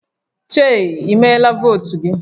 Chei i mere votu gi?